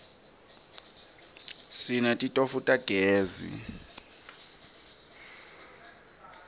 sinetitofu tagezi